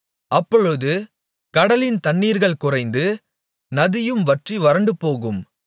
அப்பொழுது கடலின் தண்ணீர்கள் குறைந்து நதியும் வற்றி வறண்டுபோகும்